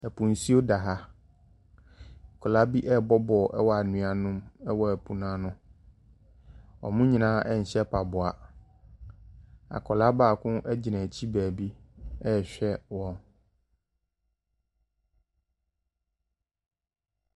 Ɛpo nsuo da ha, nkɔlaa bi ɛɛbɔ bɔɔl ɛwɔ anua no mu ɛwɔ epo n'ano. Ɔmo nyinaa ɛnhyɛ mpaboa. Akɔlaa baako agyina akyi baabi ɛɛhwɛ wɔn.